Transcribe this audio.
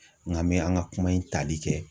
Nka an bɛ an ka kuma in tali kɛ